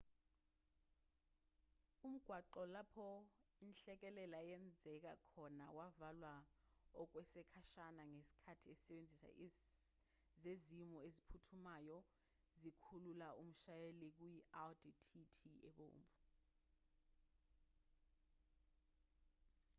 umgwaqo lapho inhlekelele yenzeka khona wavalwa okwesikhashana ngesikhathi izisebenzi zezimo eziphuthumayo zikhulula umshayeli kuyi-audi tt ebomvu